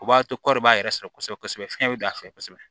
O b'a to kɔɔri b'a yɛrɛ sɔrɔ kosɛbɛ kosɛbɛ fiɲɛ bɛ a fɛ kosɛbɛ